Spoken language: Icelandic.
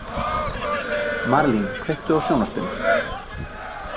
Marlín, kveiktu á sjónvarpinu.